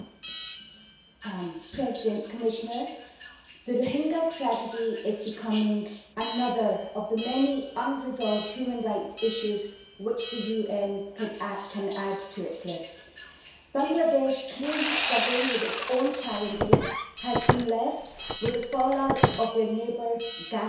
Mr President, the Rohingya tragedy is becoming another of the many unresolved human rights issues which the UN can add to its list. Bangladesh, clearly struggling with its own challenges, has been left with the fallout of its neighbour's ghastly actions.